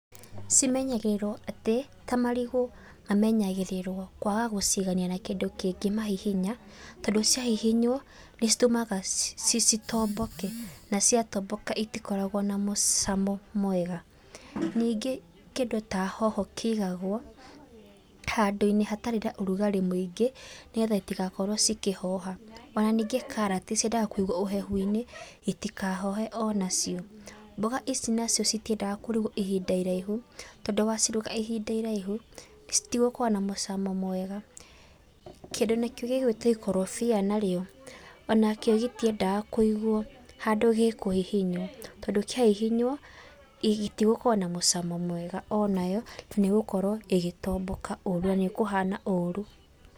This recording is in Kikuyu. Cimenyagĩrĩrwo atĩ, ta marigũ mamenyagĩrĩrwo kwaga gũcigania na kĩndũ kĩngĩ mahihinya, tondũ ciahihinywo, nĩcitũmaga ci ci tombeke na ciatomboka itikoragwo na mũcamo mwega. Ningĩ kĩndũ ta hoho kĩigagwo handũ-inĩ hatarĩ na ũrugarĩ mũingĩ, nĩgetha citigakorwo cikĩhoha. Ona ningĩ karati ciendaga kũigwo ũhehu-inĩ citikahohe onacio. Mboga ici nacio citiendaga kũrugwo ihinda irahu, tondũ waciruga ihinda iraihu, citigũkorwo na mũcamo mwega. Kindũ nakĩo gĩgwitwo ikorobia narĩo, onakĩo gĩtiendaga kũigwo handũ gĩkũhihinywo, tondũ kĩahihinywo, gĩtigũkorwo na mũcamo mwega onayo, nĩgũkorwo ĩgĩtomboka ũru, na nĩikũhana ũru.